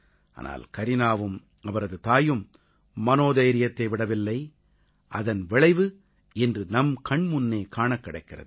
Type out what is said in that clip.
ஆனால் கரீனாவும் அவரது தாயும் மனோதைரியத்தை விடவில்லை அதன் விளைவு இன்று நம் கண்முன்னே காணக் கிடைக்கிறது